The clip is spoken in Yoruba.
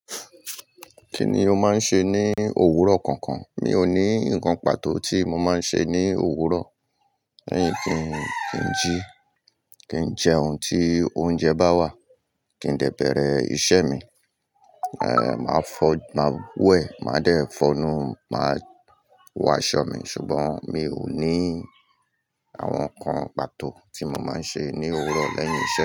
Kí ni o máa ń ṣe ní òwúrọ̀ kankan? Mi ò ní ǹkan pàtó tí mo máa ń ṣe ní òwúrọ̀, lẹ́yìn kí n jí, kí n jẹ ohun tí oúnjẹ bá wà, kí n dẹ́ bẹ̀rẹ̀ iṣẹ́ mi, eh, màá fọ̀, màá wẹ̀, màá dẹ́ fọnu, màá wọ aṣọ mi, ṣùgbọ́n mi ò ní àwọn ǹkan pàtó tí mo máa ń ṣe ní òwúrọ̀ lẹ́yìn iṣẹ́